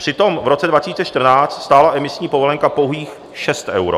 Přitom v roce 2014 stála emisní povolenka pouhých 6 euro.